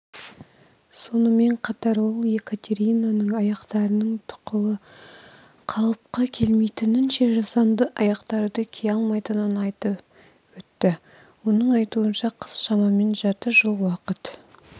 сонымен қатар ол екатеринаның аяқтарының тұқылы қалыпқа келмейінше жасанды аяқтарды кие алмайтынын айтып өтті оның айтуынша қыз шамамен жарты жыл уақыт